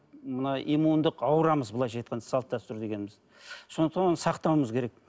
мына иммундық аурамыз былайша айтқанда салт дәстүр дегеніміз сондықтан оны сақтауымыз керек